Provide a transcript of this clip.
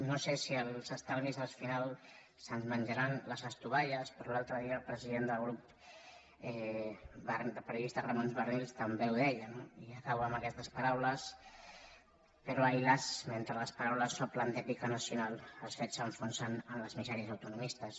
no sé si els estalvis al final se’ns menjaran les estovalles però l’altre dia el president del grup de periodistes ramon barnils també ho deia no i acabo amb aquestes paraules però ai las mentre les paraules s’omplen d’èpica nacional els fets s’enfonsen en les misèries autonomistes